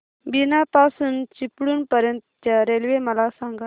बीना पासून चिपळूण पर्यंत च्या रेल्वे मला सांगा